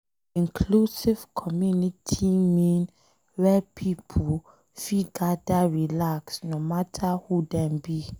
Inclusive community mean where pipo fit gadir relax no matter who Dem be.